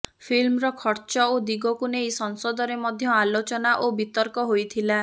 ଫିଲ୍ମର ଖର୍ଚ୍ଚ ଓ ଦିଗକୁ ନେଇ ସଂସଦରେ ମଧ୍ୟ ଆଲୋଚନା ଓ ବିତର୍କ ହୋଇଥିଲା